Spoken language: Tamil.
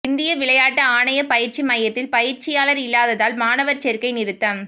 இந்திய விளையாட்டு ஆணைய பயிற்சி மையத்தில் பயிற்சியாளர் இல்லாததால் மாணவர் சேர்க்கை நிறுத்தம்